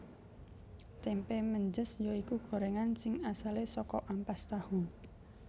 Tempe Menjes ya iku gorengan sing asale saka ampas tahu